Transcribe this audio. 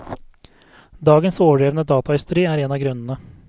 Dagens overdrevne datahysteri er en av grunnene.